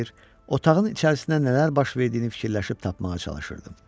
otağın içərisində nələr baş verdiyini fikirləşib tapmağa çalışırdım.